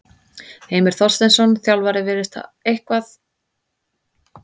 Heimir Þorsteinsson, þjálfari virðist hafa eitthvað lag á gefa liði sínu auka orku í leikhléi.